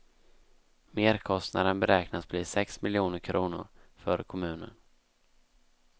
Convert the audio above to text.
Merkostnaden beräknas bli sex miljoner kronor för kommunen.